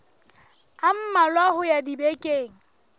a mmalwa ho ya dibekeng